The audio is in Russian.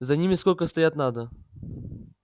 за ними сколько стоять надо